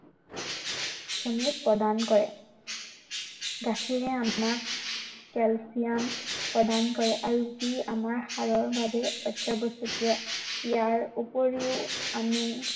প্ৰদান কৰে। গাখীৰে আমাক কেলছিয়াম প্ৰদান কৰে। আৰু ই আমাৰ হাড়ৰ বাবে অত্য়াৱশ্য়কীয়। ইয়াৰ উপৰিও আমি